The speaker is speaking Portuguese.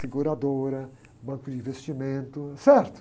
Seguradora, banco de investimento, certo?